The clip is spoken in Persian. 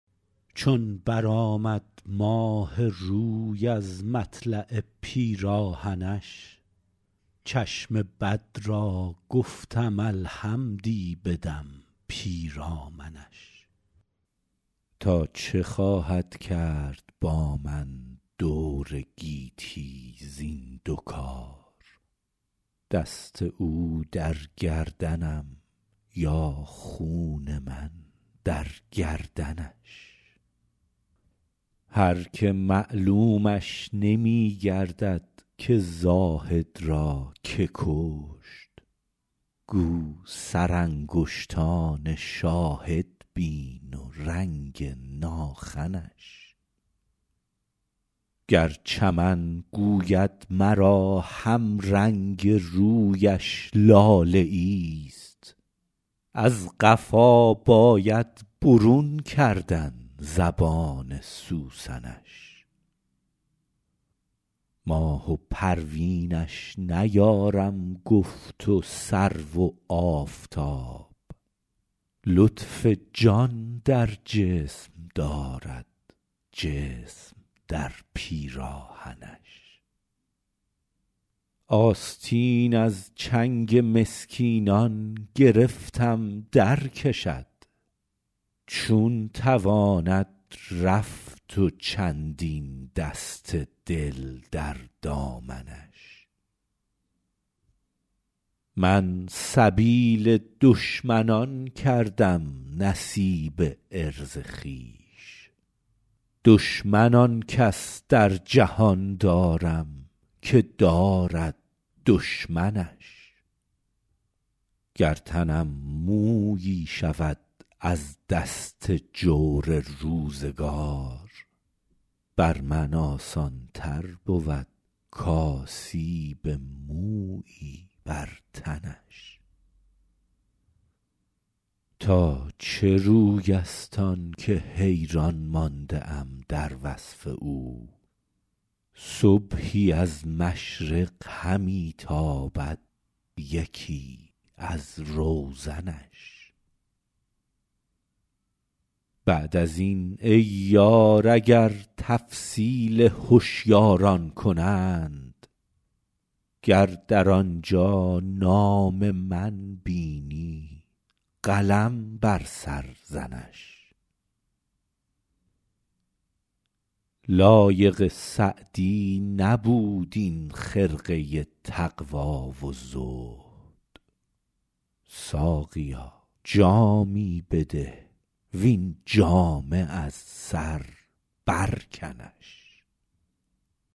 چون برآمد ماه روی از مطلع پیراهنش چشم بد را گفتم الحمدی بدم پیرامنش تا چه خواهد کرد با من دور گیتی زین دو کار دست او در گردنم یا خون من در گردنش هر که معلومش نمی گردد که زاهد را که کشت گو سرانگشتان شاهد بین و رنگ ناخنش گر چمن گوید مرا همرنگ رویش لاله ایست از قفا باید برون کردن زبان سوسنش ماه و پروینش نیارم گفت و سرو و آفتاب لطف جان در جسم دارد جسم در پیراهنش آستین از چنگ مسکینان گرفتم درکشد چون تواند رفت و چندین دست دل در دامنش من سبیل دشمنان کردم نصیب عرض خویش دشمن آن کس در جهان دارم که دارد دشمنش گر تنم مویی شود از دست جور روزگار بر من آسان تر بود کآسیب مویی بر تنش تا چه روی است آن که حیران مانده ام در وصف او صبحی از مشرق همی تابد یکی از روزنش بعد از این ای یار اگر تفصیل هشیاران کنند گر در آنجا نام من بینی قلم بر سر زنش لایق سعدی نبود این خرقه تقوا و زهد ساقیا جامی بده وین جامه از سر برکنش